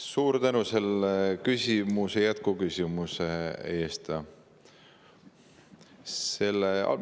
Suur tänu selle jätkuküsimuse eest!